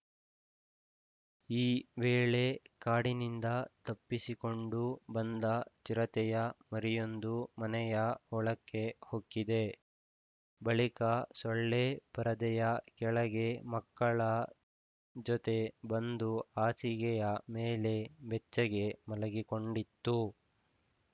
ಈ ವೇಳೆ ಕಾಡಿನಿಂದ ತಪ್ಪಿಸಿಕೊಂಡು ಬಂದ ಚಿರತೆಯ ಮರಿಯೊಂದು ಮನೆಯ ಒಳಕ್ಕೆ ಹೊಕ್ಕಿದೆ ಬಳಿಕ ಸೊಳ್ಳೆ ಪರದೆಯ ಕೆಳಗೆ ಮಕ್ಕಳ ಜೊತೆ ಬಂದು ಹಾಸಿಗೆಯ ಮೇಲೆ ಬೆಚ್ಚಗೆ ಮಲಗಿಕೊಂಡಿತ್ತು